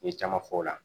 N ye caman fɔ o la